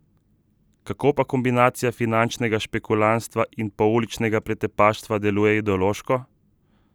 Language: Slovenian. Kako pa kombinacija finančnega špekulantstva in pouličnega pretepaštva deluje ideološko?